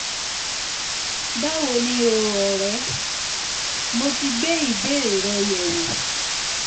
báwo ni o ọ̀rẹ́? mo ti gbé ìbéèrè rẹ yẹ̀ wò